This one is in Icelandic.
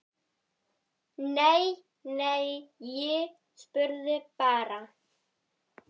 Nei, nei, ég spurði bara